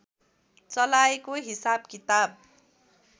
चलाएको हिसाब किताब